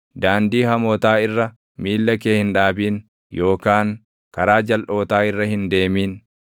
Daandii hamootaa irra miilla kee hin dhaabin yookaan karaa jalʼootaa irra hin deemin.